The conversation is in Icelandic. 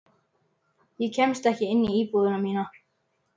Ég kemst ekki inn í íbúðina mína.